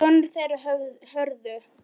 Sonur þeirra Hörður.